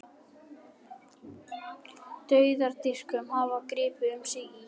Dauðadýrkun hefur gripið um sig í